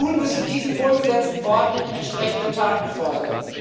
Nun müssen diesen wohlgesetzten Worten entsprechende Taten folgen.